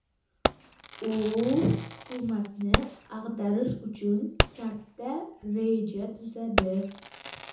U hukumatni ag‘darish uchun katta reja tuzadi.